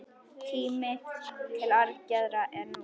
Tíminn til aðgerða er nú!